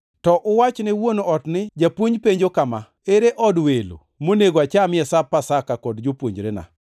to uwach ne wuon ot ni, ‘Japuonj penjo kama: Ere od welo monego achamie Sap Pasaka kod jopuonjrena?’